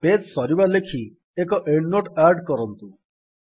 page ସରିବା ଲେଖି ଏକ ଏଣ୍ଡ୍ ନୋଟ୍ ଆଡ୍ କରନ୍ତୁ